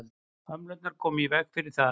hömlurnar koma í veg fyrir það